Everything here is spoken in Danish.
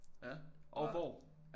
Ja og hvor